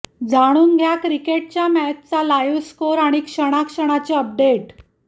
जाणून घ्या क्रिकेटचे मॅचचा लाईव्ह स्कोअर आणि क्षणाक्षणाचे अपडेट